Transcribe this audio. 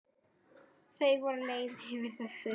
Þau voru leið yfir þessu.